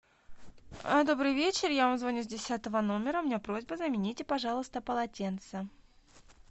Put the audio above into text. добрый вечер я вам звоню с десятого номера у меня просьба замените пожалуйста полотенце